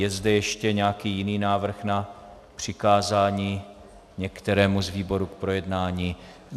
Je zde ještě nějaký jiný návrh na přikázání některému z výborů k projednání?